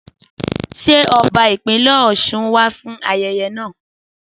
Sẹ Ọ̀bà ìpínlè ọsún wà fún àyẹyẹ nà?